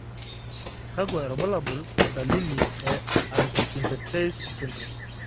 kakwa irbulabol o dalili e Antisynthetase syndrome?